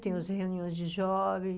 Tem as reuniões de jovens.